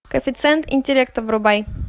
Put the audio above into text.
коэффициент интеллекта врубай